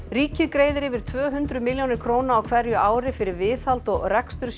ríkið greiðir yfir tvö hundruð milljónir króna á hverju ári fyrir viðhald og rekstur